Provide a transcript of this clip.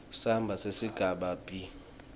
samba sesigaba b